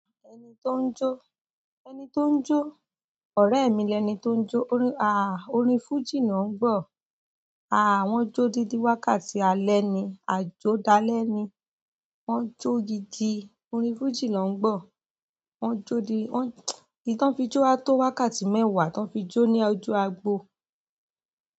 Ẹni tó ń jó, ẹni tó ń jó, ọrẹ mi lẹni tó ń jó. Orin fújì ló ń gbọ̀. Wọ́n jó dídi wákàtí alẹ́ ni, àjó dalẹ́ ni. Wọ́n jó gidi, orin fújì ló ń gbọ̀. Wọ́n jó di, èyí tí wọ́n fi jó a tó wákàtí mẹ́wàá tàn wọn fi jó ní ojú agbo.